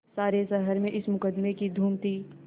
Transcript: सारे शहर में इस मुकदमें की धूम थी